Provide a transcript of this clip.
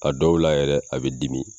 A dɔw la yɛrɛ a be dimi